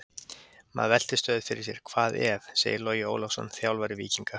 Maður veltir stöðugt fyrir sér: Hvað ef? segir Logi Ólafsson, þjálfari Víkinga.